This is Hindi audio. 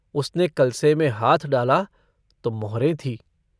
उसने कलसे में हाथ डाला तो मोहरे थीं।